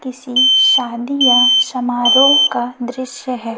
किसी शादी या समारोह का दृश्य है।